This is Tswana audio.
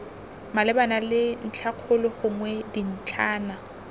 malebana le ntlhakgolo gongwe dintlhana